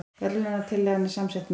Verðlaunatillagan er samsett mynd